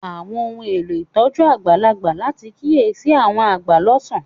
Àwọn ohun elo ìtójú àgbàlagbà láti kiyesi àwọn agba lọsan.